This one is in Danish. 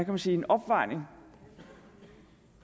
man sige opvejning